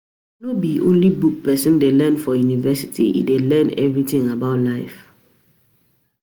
No be only book pesin dey learn for university, e dey learn everytin about life.